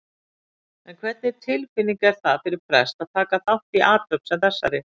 En hvernig tilfinning er það fyrir prest að taka þátt í athöfn sem þessari?